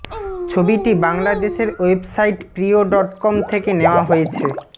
ছবিটি বাংলাদেশের website Priyo dot com থেকে নেওয়া হয়েছে